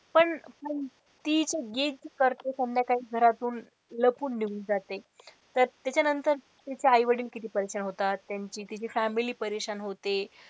पण ती जे गीत करते संध्याकाळी घरातून लपून निघून जाते तर त्याच्या नंतर त्याचे आई वडील किती परेशान होतात त्यांची तिची family परेशान होते.